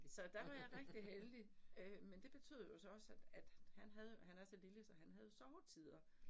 Så der var jeg rigtig heldig, øh men det betød jo så også, at at han havde jo, han er så lille, så han havde jo sovetider